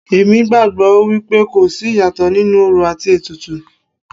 Èmi gbàgbọ́ wípé kò sí ìyàtọ̀ nínú orò àti ètùtù.